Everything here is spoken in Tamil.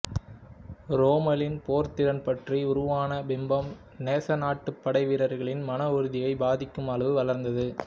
ரோம்மலின் போர்த்திறன் பற்றி உருவான பிம்பம் நேச நாட்டுப் படை வீரர்களின் மன உறுதியைப் பாதிக்கும் அளவு வளர்ந்தது